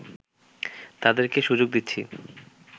তাদের কে সুযোগ দিচ্ছি